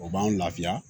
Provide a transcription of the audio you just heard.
O b'an lafiya